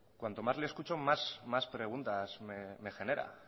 cuanto más le escucho más preguntas me genera